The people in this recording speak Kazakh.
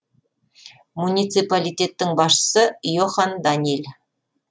муниципалитеттің басшысы йохан даниль